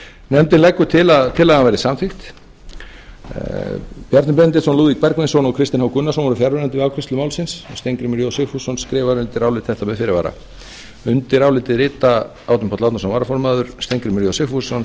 nefndin leggur til að tillagan verði samþykkt bjarni benediktsson lúðvík bergvinsson og kristinn h gunnarsson voru fjarverandi við afgreiðslu málsins steingrímur j sigfússon skrifar undir álit þetta með fyrirvara árni páll árnason varaformaður frá steingrímur j sigfússon með fyrirvara